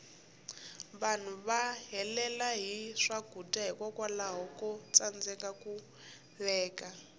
vanhu va helela hi swakudya hikwalaho ko tsandeka ku veka